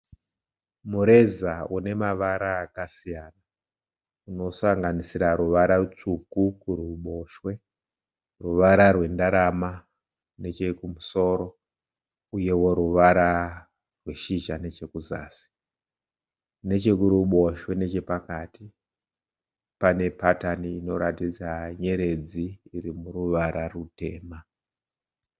Mureza une mavara akasiyana unosanganisira ruvara rutsvuku kuruboshwe, ruvara rwendarama nechemusoro, uyevo ruvara rweshizha nechekuzasi, nechekuboshwe nechepakati pane patani inoratidza nyeredzi irimuruvara rwutema.